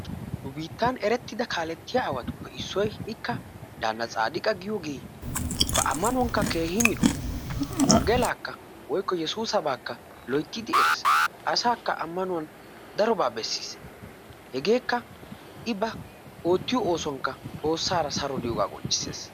Nu biittan erettida kaalettiya aawatuppe issoyi ikka daanna tsaadiqa giyogee ba ammanuwankka keehi mino wonggelaakka woykko yesuusabaa loyttidi eres asaakka ammanuwan darobaa bessis hegeekka i ba oottiyo oosuwankka xoossaara saro diyogaa qonccisses.